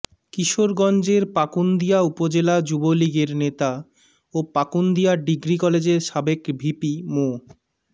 কিশোরগঞ্জের পাকুন্দিয়া উপজেলা যুবলীগের নেতা ও পাকুন্দিয়া ডিগ্রি কলেজের সাবেক ভিপি মো